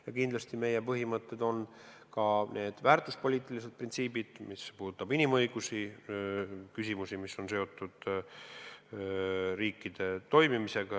Ja kindlasti meie põhimõtted on ka need väärtuspoliitilised printsiibid, mis puudutavad inimõiguste küsimusi, mis on seotud riikide toimimisega.